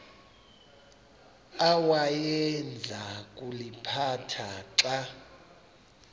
awayeza kuliphatha xa